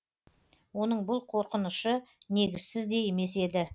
оның бұл қорқынышы негізсіз де емес еді